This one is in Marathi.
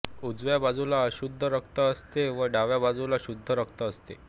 उजव्या बाजूला अशुद्ध रक्त असते व डाव्या बाजूला शुद्ध रक्त असते